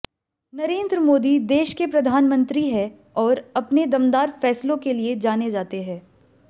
नरेंद्र मोदी देश के प्रधानमंत्री हैं और अपने दमदार फैसलों के लिए जाने जाते हैं